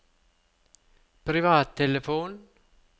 privattelefon